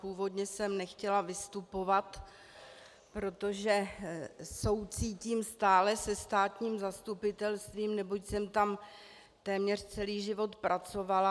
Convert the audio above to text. Původně jsem nechtěla vystupovat, protože soucítím stále se státním zastupitelstvím, neboť jsem tam téměř celý život pracovala.